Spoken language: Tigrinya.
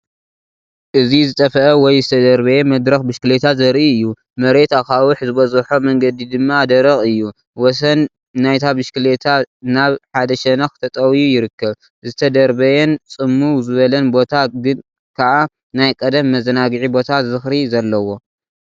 እዚ ዝጠፍአ ወይ ዝተደርበየ መድረኽ ብሽክለታ ዘርኢ እዩ። መሬት ኣኻውሕ ዝበዝሖ መንገዲ ድማ ደረቕ እዩ። ወሰን ናይታ ብሽክለታ ናብ ሓደ ሸነኽ ተጠውዩ ይርከብ። ዝተደርበየን ጽምው ዝበለን ቦታ ግን ከኣ ናይ ቀደም መዘናግዒ ቦታ ዝኽሪ ዘለዎ።